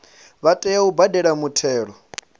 vha tea u badela muthelo